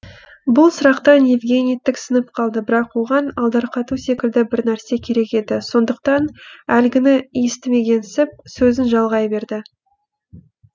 бұл сұрақтан евгений тіксініп қалды бірақ оған алдарқату секілді бір нәрсе керек еді сондықтан әлгіні естімегенсіп сөзін жалғай берді